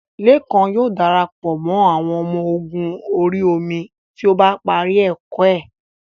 Lékan yóò dara pọ̀ mọ́ àwọn ọmọ ogun orí omi tí ó bá parí ẹ̀kọ́ ẹ́